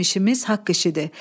Bizim işimiz haqq işidir.